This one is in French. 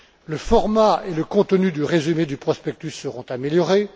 Le format et le contenu du résumé du prospectus seront améliorés.